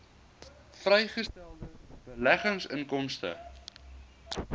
vrygestelde beleggingsinkomste